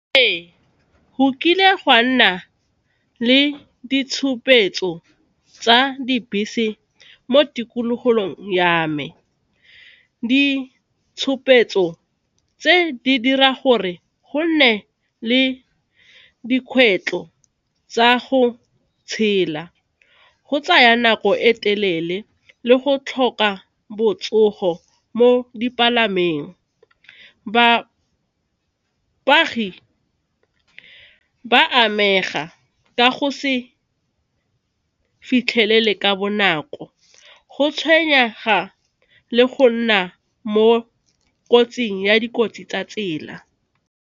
Ee, go kile gwa nna le ditshupetso tsa dibese mo ya me ditshupetso tse di dira gore gonne le dikgwetlho tsa go tshela, go tsaya nako e telele le go tlhoka botsogo mo dipalameng. Ba amega ka go se fitlhelele ka bonako go tshwenyega le go nna mo kotsing ya dikotsi tsa tsela.